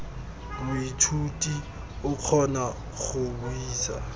moithuti o kgona go buisa